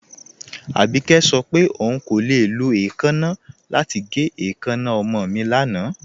Abíkẹ̀ sọ pé ọún kò le lọ èèkánna lati gẹ̀ èèkánna ọmọ mi lánà.